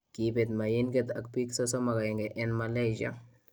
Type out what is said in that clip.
Kebeet mayinkeet ak biik 31 en Malaysia